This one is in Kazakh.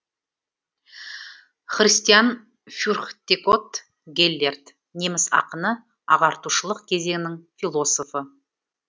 христиан фюрхтеготт геллерт неміс ақыны ағартушылық кезеңнің философы